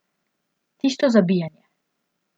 Tisto Zabijanje.